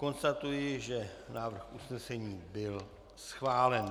Konstatuji, že návrh usnesení byl schválen.